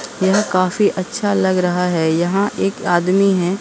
यह काफी अच्छा लग रहा है यहां एक आदमी है।